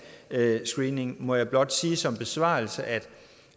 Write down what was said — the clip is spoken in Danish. screeningen må jeg blot sige som besvarelse at